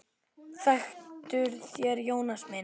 Þektuð þér Jónas minn?